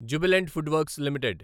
Jubilant FoodWorks limited